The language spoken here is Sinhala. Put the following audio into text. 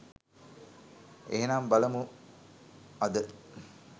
එහෙමනම් බලමු අද